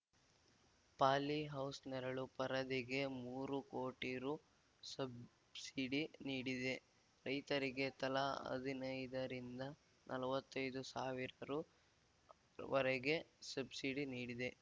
polyhouse ನೆರಳು ಪರದೆಗೆ ಮೂರು ಕೋಟಿ ರುಸಬ್ಸಿಡಿ ನೀಡಿದೆ ರೈತರಿಗೆ ತಲಾ ಹದಿನೈದರಿಂದ ನಲವತ್ತೈದು ಸಾವಿರ ರುವರೆಗೆ ಸಬ್ಸಿಡಿ ನೀಡಿದೆ